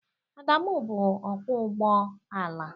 Adamụ bụ ọkwọ ụgbọ ala.